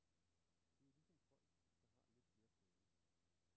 Det er ligesom folk, der har lidt flere penge.